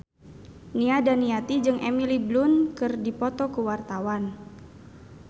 Nia Daniati jeung Emily Blunt keur dipoto ku wartawan